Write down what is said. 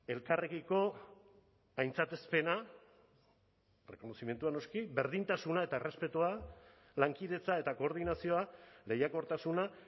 elkarrekiko aintzatespena errekonozimendua noski berdintasuna eta errespetua lankidetza eta koordinazioa lehiakortasuna